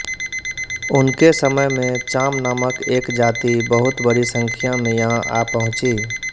उनके समय में चाम नामक एक जाति बहुत बड़ी संख्या में यहाँ आ पहुँची